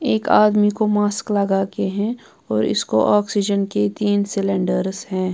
एक आदमी को मास्क लगा के है और इसको ऑक्सीजन के तीन सिलेंडर्स हैं।